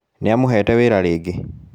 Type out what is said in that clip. Nĩ amũhete wĩra rĩngĩ